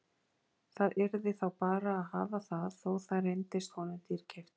Það yrði þá bara að hafa það þó það reyndist honum dýrkeypt.